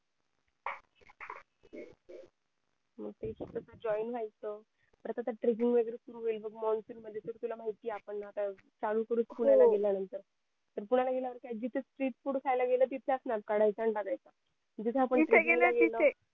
मग त्याच्यातच goin व्हायचं परत आता tracking वैगरे सुरु होईल बघ monsoon मध्ये तुला तर माहिती आहे काय होत आपण परत चालू करू पुण्याला गेल्या नंतर पुण्याला गेल्या वर काय जिथं street food खायला गेल तिथला snap काढायचा आणि टाकायचा जिथे गेले तिथे